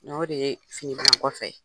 N'o de ye fini bila kɔfɛ ye.